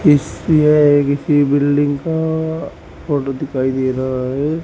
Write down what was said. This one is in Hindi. इस ये एक किसी बिल्डिंग फोटो दिखाई दे रहा है।